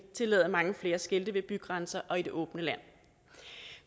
tillade mange flere skilte ved bygrænserne og i det åbne land